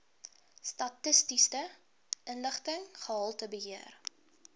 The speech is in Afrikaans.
statistiese inligting gehaltebeheer